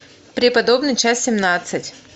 преподобный часть семнадцать